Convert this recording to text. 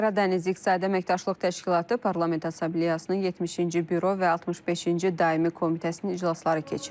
Qara Dəniz İqtisadi Əməkdaşlıq Təşkilatı Parlament Assambleyasının 70-ci büro və 65-ci daimi komitəsinin iclasları keçirilib.